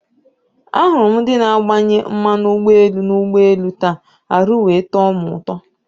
Ahụrụ m ndị na agbanye mmanụ ụgbọelu na ụgbọelu taa, arụ wee tọ mụ ụtọ